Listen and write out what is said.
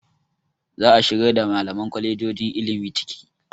Za a shigar da malaman kwalejojon ilimi ciki.